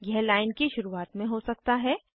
यह लाइन की शुरुआत में हो सकता है